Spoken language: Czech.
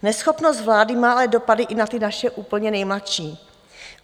Neschopnost vlády má ale dopady i na ty naše úplně nejmladší.